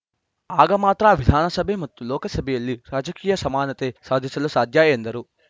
ಆಗ ಮಾತ್ರ ವಿಧಾನಸಭೆ ಮತ್ತು ಲೋಕಸಭೆಯಲ್ಲಿ ರಾಜಕೀಯ ಸಮಾನತೆ ಸಾಧಿಸಲು ಸಾಧ್ಯ ಎಂದರು